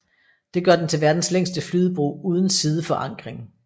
Det gør den til verdens længste flydebro uden sideforankring